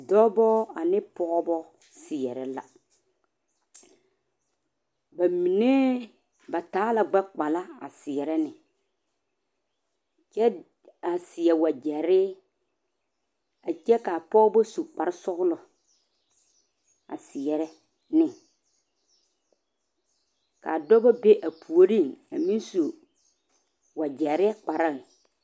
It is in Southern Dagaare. Dɔɔbo ane pɔgebo seɛre la ba mine ba taa la gbekpala a seɛre ne kyɛ a seɛ wagyere a kyɛ kaa pɔgebo su kpare sɔglɔ a seɛre ne kaa dɔɔba be a puori a meŋ su wagyere kpre.